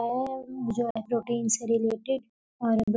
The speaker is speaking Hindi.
और उ जो है प्रोटीन से रिलेटेड और अंद --